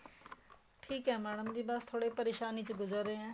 ਠੀਕ ਏ mam ਥੋੜੇ ਪਰੇਸ਼ਾਨੀ ਚੋ ਗੁਜਰ ਰਹੇ ਹਾਂ